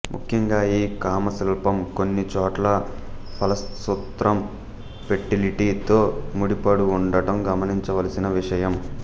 ముఖ్యంగా ఈ కామశిల్పం కొన్ని చోట్ల ఫలసూత్రం ఫెర్టిలిటీ తో ముడిపడు ఉండటం గమనించవలసిన విషయం